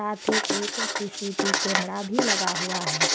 याती एक CCTV camera भी लगा हुआ है।